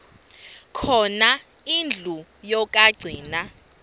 khona indlu yokagcina